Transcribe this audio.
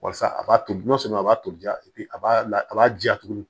Walasa a b'a to n'a sɔrɔ a b'a tobi a b'a la a b'a ja tugun